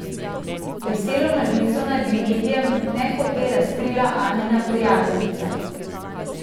Veselo novico naj bi medijem ne hote razkrila Anina prijateljica.